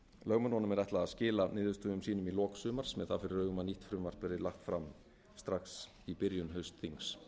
lögmönnunum er ætlað að skila niðurstöðum sínum í lok sumars með það fyrir augum að nýtt frumvarp verði lagt fram strax í byrjun haustþings